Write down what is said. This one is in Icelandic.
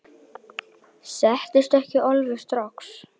Settist ekki alveg strax.